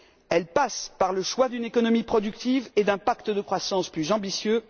Elle passe par le choix d'une économie productive et d'un pacte de croissance plus ambitieux.